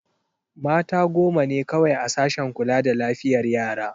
Mata goma ne kawai a sashen kula da lafiyar yara.